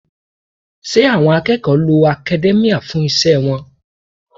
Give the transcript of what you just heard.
Ṣé àwọn akẹ́kọ̀ọ́ lo academia fún iṣẹ́ wọn?